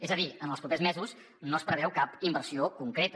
és a dir en els propers mesos no es preveu cap inversió concreta